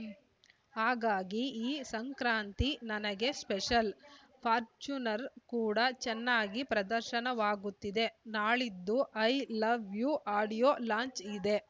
ಹಾಗಾಗಿ ಈ ಸಂಕ್ರಾಂತಿ ನನಗೆ ಸ್ಪೆಷಲ್‌ ಫಾರ್ಚುನರ್‌ ಕೂಡ ಚೆನ್ನಾಗಿ ಪ್ರದರ್ಶನವಾಗುತ್ತಿದೆ ನಾಳಿದ್ದು I love you audio launch ಇದೆ